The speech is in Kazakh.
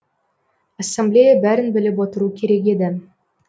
ассамблея бәрін біліп отыру керек еді